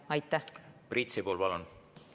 Priit Sibul, palun!